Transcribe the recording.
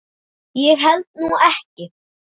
Ég held nú ekki!